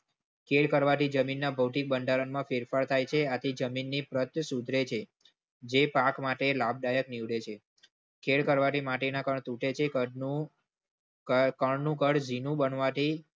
ખેળ કરવા થી જમીનના ભૌતિક બંધારણમાં ફેરફાર થાય છે. આથી જમીનની પ્રત સુધરે છે. જે પાક માટે લાભદાયક નીવડે છે. ખેલ કરવાથી માટી ના કણ તૂટે છે. કણ નું કણ જીણું બનવાથી